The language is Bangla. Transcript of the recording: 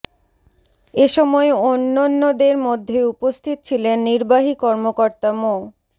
এ সময় অন্যন্যের মধ্যে উপস্থিত ছিলেন নির্বাহী কর্মকর্তা মো